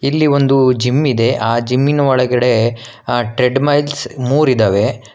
ಇಲ್ಲಿ ಒಂದು ಜಿಮ್ ಇದೆ ಆ ಜಿಮ್ ಇನ ಒಳಗಡೆ ಆ ಟ್ರೇಡ್ ಮೈಲ್ಸ್ ಮೂರಿದವೆ.